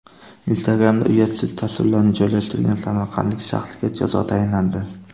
Instagram’da uyatsiz tasvirlarni joylashtirgan samarqandlik shaxsga jazo tayinlandi.